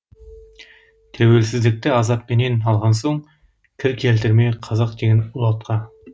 тәуелсіздікті азаппенен алған соң кір келтірме қазақ деген ұлы атқа